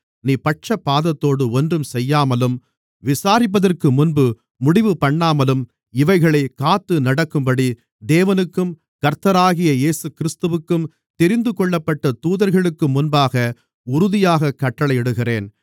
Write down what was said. நீ பட்சபாதத்தோடு ஒன்றும் செய்யாமலும் விசாரிப்பதற்குமுன்பு முடிவுபண்ணாமலும் இவைகளைக் காத்துநடக்கும்படி தேவனுக்கும் கர்த்தராகிய இயேசுகிறிஸ்துவிற்கும் தெரிந்துகொள்ளப்பட்ட தூதர்களுக்கும்முன்பாக உறுதியாகக் கட்டளையிடுகிறேன்